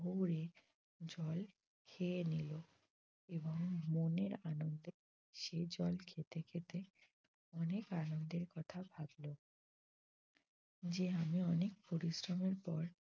ভরে জল খেয়ে নিল এবং মনের আনন্দে সে জল খেতে খেতে অনেক আনন্দের কথা ভাবল যে আমি অনেক পরিশ্রমের পর।